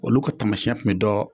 Olu kɛ taamasiyɛn kun bi dɔ.